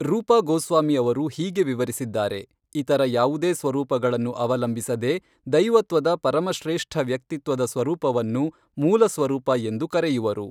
ರೂಪಾ ಗೋಸ್ವಾಮಿ ಅವರು ಹೀಗೆ ವಿವರಿಸಿದ್ದಾರೆ ಇತರ ಯಾವುದೇ ಸ್ವರೂಪಗಳನ್ನು ಅವಲಂಬಿಸದೇ ದೈವತ್ವದ ಪರಮಶ್ರೇಷ್ಠ ವ್ಯಕ್ತಿತ್ವದ ಸ್ವರೂಪವನ್ನು ಮೂಲ ಸ್ವರೂಪಎಂದು ಕರೆಯುವರು.